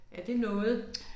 Er det noget?